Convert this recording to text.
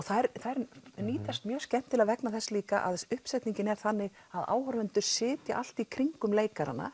þær nýtast mjög skemmtilega vegna þess líka að uppsetningin er þannig að áhorfendur sitja allt í kringum leikarana